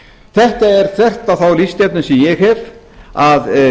þetta er þvert á þá lífsstefnu sem ég hef að